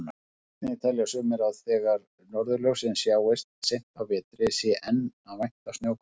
Einnig telja sumir að þegar norðurljós sjáist seint á vetri sé enn að vænta snjókomu.